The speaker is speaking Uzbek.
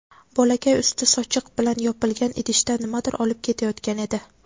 Bolakay usti sochiq bilan yopilgan idishda nimadir olib ketayotgan edi.